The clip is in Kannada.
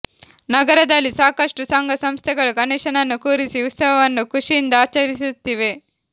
ನಗರದಲ್ಲಿ ಸಾಕಷ್ಟು ಸಂಘ ಸಂಸ್ಥೆಗಳು ಗಣೇಶನನ್ನು ಕೂರಿಸಿ ಉತ್ಸವವನ್ನು ಖುಷಿಯಿಂದ ಆಚರಿಸುತ್ತಿವೆ